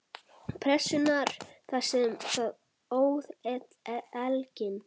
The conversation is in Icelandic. Pressunnar þar sem það óð elginn.